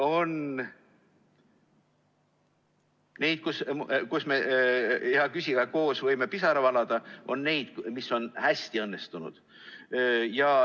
On neid, kus me, hea küsija, võime koos pisara valada, on neid, mis on hästi õnnestunud.